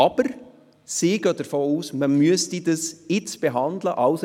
Aber sie geht davon aus, dass man das Geschäft jetzt behandeln muss.